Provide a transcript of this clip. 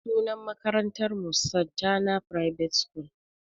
Sunan makarantar mu "Santana private school"